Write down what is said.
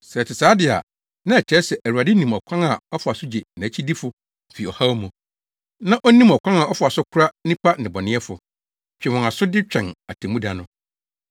Sɛ ɛte saa de a, na ɛkyerɛ sɛ Awurade nim ɔkwan a ɔfa so gye nʼakyidifo fi ɔhaw mu, na onim ɔkwan a ɔfa so kora nnipa nnebɔneyɛfo, twe wɔn aso de twɛn atemmuda no.